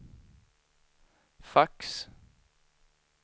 fax